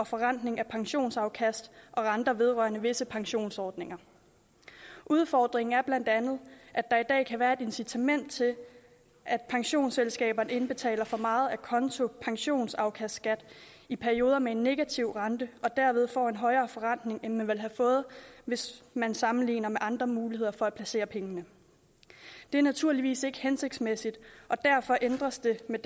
forrentning af pensionsafkast og renter vedrørende visse pensionsordninger udfordringen er bla at kan være et incitament til at pensionsselskaberne indbetaler for meget acontopensionsafkastskat i perioder med en negativ rente og derved får en højere forrentning end de ville have fået hvis man sammenligner med andre muligheder for at placere pengene det er naturligvis ikke hensigtsmæssigt og derfor ændres det med